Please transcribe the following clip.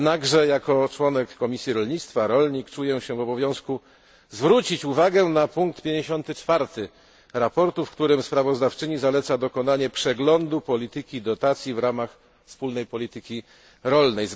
Jednakże jako członek Komisji Rolnictwa, rolnik, czuję się w obowiązku zwrócić uwagę na punkt 54 sprawozdania, w którym sprawozdawczyni zaleca dokonanie przeglądu polityki dotacji w ramach wspólnej polityki rolnej.